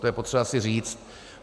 To je potřeba si říct.